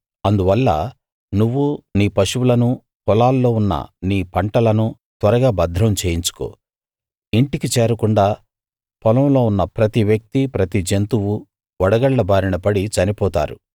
అందువల్ల నువ్వు నీ పశువులను పొలాల్లో ఉన్న నీ పంటలనూ త్వరగా భద్రం చేయించుకో ఇంటికి చేరకుండా పొలంలో ఉన్న ప్రతి వ్యక్తీ ప్రతి జంతువూ వడగళ్ళ బారిన పడి చనిపోతారు